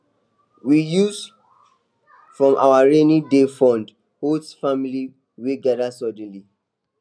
we use from our rainyday fund host family wey gather sudden